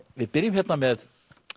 við byrjum með